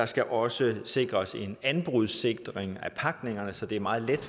skal også sikres med en anbrudsanordning så det er meget let